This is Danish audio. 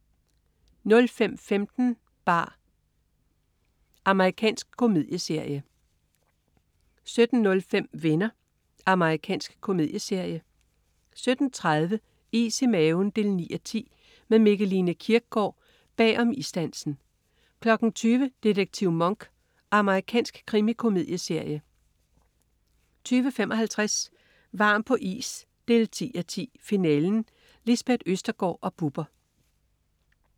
05.15 bar. Amerikansk komedieserie 17.05 Venner. Amerikansk komedieserie 17.30 Is i maven 9:10. Med Mikkeline Kierkgaard bag om isdansen 20.00 Detektiv Monk. Amerikansk krimikomedieserie 20.55 Varm på is 10:10. Finalen. Lisbeth Østergaard og Bubber